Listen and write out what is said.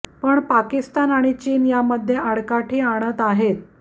पण पाकिस्तान आणि चीन यामध्ये आडकाठी आणत आहेत